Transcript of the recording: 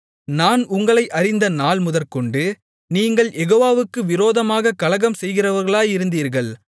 நான் உங்களை அறிந்த நாள் முதற்கொண்டு நீங்கள் யெகோவாவுக்கு விரோதமாகக் கலகம் செய்கிறவர்களாயிருந்தீர்கள்